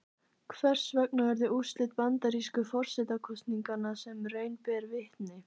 Hvers vegna urðu úrslit bandarísku forsetakosninganna sem raun ber vitni?